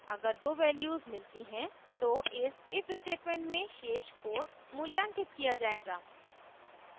अगर दो values मिलती हैं तो इस if statement में शेष code मूल्यांकित किया जायेगा